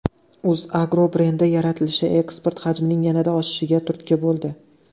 UzAgro brendi yaratilishi eksport hajmining yanada oshishiga turtki bo‘ldi.